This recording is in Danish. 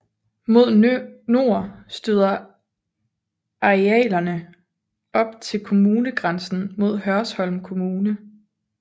Mod nord støder arealerne op til kommunegrænsen mod Hørsholm Kommune